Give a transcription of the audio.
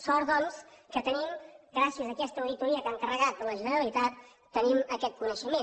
sort doncs que en tenim gràcies a aquesta auditoria que ha encarregat la generalitat aquest coneixement